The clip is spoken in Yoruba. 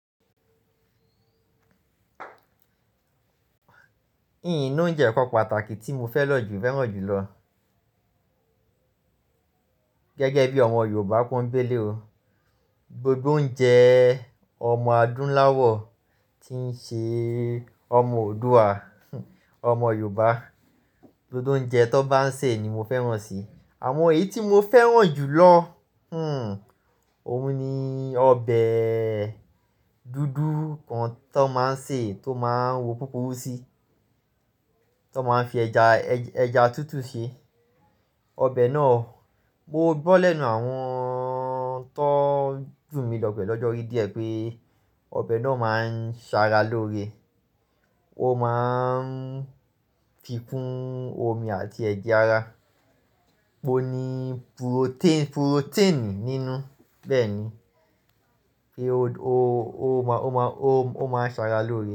In loúnjẹ kan pàtàkì tí mo fẹ́ lọ̀ jù fẹ́ràn jùlọ gẹ́gẹ́ bí ọmọ Yorùbá pòńbéle o. Gbogbo oúnjẹ ọmọ Adúnláwọ̀ tí ń ṣe ọmọ Oòduà, ọmọ Yorùbá, gbogbo oúnjẹ tó bá ń sè ni mo fẹ́ràn si. Àmọ èyí tí mo fẹ́ràn jùlọ, hmm òun ni ọbẹ̀ dúdú kan tó máa ń sè, tó máa ń wo pópó sí, tó máa ń fi ẹja, ẹja tútù ṣe. Ọbẹ̀ náà mo gbọ́ lẹ́nu àwọn tó jù mí lọ pẹ́ lọ́jọ́ orí díẹ̀ pé ọbẹ̀ náà máa ń ṣara lóore. Ó máa ń fikún omi àti ẹ̀jẹ̀ ara. Ó ní purotẹ́- purotẹ́ẹ̀nì nínú. Bẹ́ẹ̀ ni, ó máa ń ṣara lóore.